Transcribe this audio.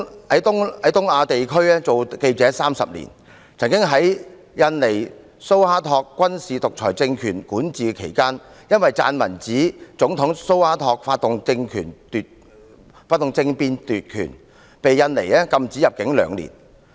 Keith 在東亞地區當記者30年，曾在印尼蘇哈托軍事獨裁政權管治期間，撰文指總統蘇哈托發動政變奪權，被印尼禁止入境兩年。